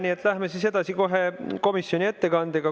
Nii et läheme edasi kohe komisjoni ettekandega.